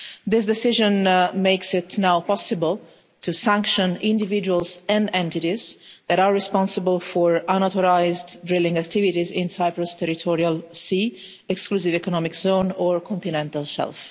This decision makes it now possible to sanction individuals and entities that are responsible for unauthorised drilling activities in Cyprus' territorial sea, exclusive economic zone or continental shelf.